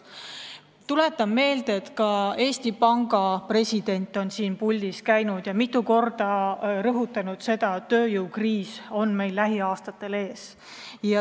Tuletan meelde, et ka Eesti Panga president on siin puldis käinud ja mitu korda rõhutanud, et tööjõukriis on meil lähiaastatel ees.